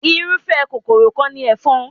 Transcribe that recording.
Irúfẹ́ kòkòrò kan ni ẹ̀fọn.